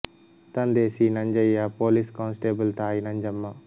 ತಂದೆ C Nanjaiah police constable ತಾಯಿ ನಂಜಮ್ಮ